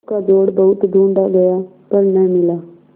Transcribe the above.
उसका जोड़ बहुत ढूँढ़ा गया पर न मिला